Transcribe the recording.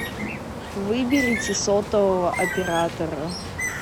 выберите сотового оператора